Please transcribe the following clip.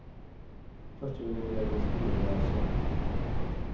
Først vil jeg beskrive hva jeg så.